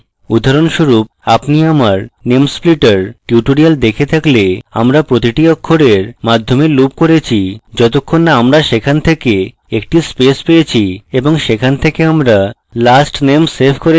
উদাহরণস্বরূপ আপনি আমার name splitter tutorial দেখে থাকলে আমরা প্রতিটি অক্ষরের মাধ্যমে loop করেছি যতক্ষণ না আমরা সেখানে থেকে একটি space পেয়েছি এবং সেখান থেকে আমরা last name save করেছি